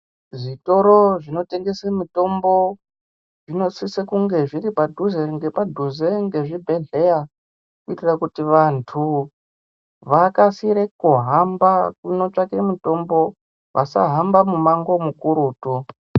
Zvitoro zvinotengese mitombo zvinosise kunge zviri padhuze ngepadhuze ngezvibhehleya kuitira kuti vantu vakasire kuhamba kunotsvake mutombo vasahamba mumango mukurutu.